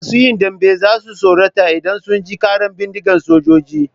Masu yin dambe za su tsorata idan sun ji ƙaran bindigan sojoji.